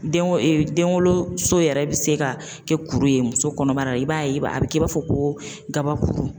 Den wolo so yɛrɛ bɛ se ka kɛ kuru ye muso kɔnɔbara la i b'a ye a bɛ k'i b'a fɔ ko gabakuru.